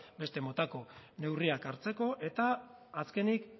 beste motako neurriak hartzeko eta azkenik